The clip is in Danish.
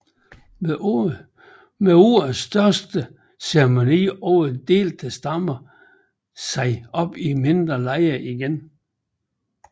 Med årets største ceremoni ovre delte stammen sig op i mindre lejre igen